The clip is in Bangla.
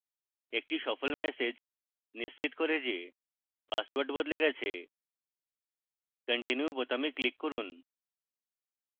একটি সফল ম্যাসেজ নিশ্চিত করে যে পাসওয়ার্ড বদলে গেছে continue বোতামে click করুন